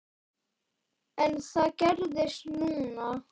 En það gerðist núna.